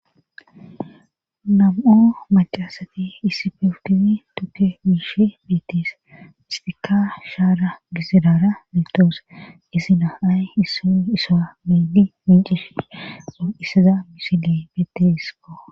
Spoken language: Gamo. Nam'o macaasati issi fewutizi tukke biishi bettis histika shaara gisirara miltoos isina ay issun isa meedi mincishi or7issaza misile beettisko